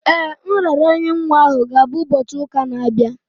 Ee, nraranye nwa ahụ ga-abụ ụbọchị ụka na-abịa.